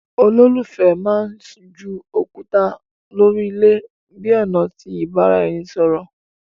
Ololufẹ mán jù òkúta lórí ilé bi ọna ti ibaraẹnisọrọ